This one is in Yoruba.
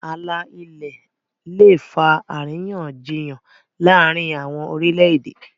ààlà ilẹ lẹ fa àríyànjiyàn láàrin àwọn orilẹ-ède.